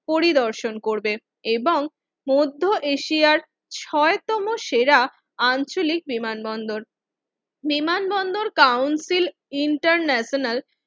পরিদর্শন করবে এবং মধ্য এশিয়ার ছয় তম সেরা আঞ্চলিক বিমান বন্দর বিমানবন্দর কাউন্সিল ইন্টারন্যাশনাল